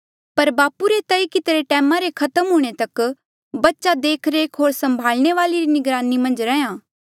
पर बापू रे तय कितिरे टैमा रे खत्म हूंणे तक बच्चा देखरेख होर संभाल्ने वाले री निगरानी मन्झ रैहया